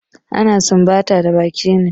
Ana sumbata da baki ne.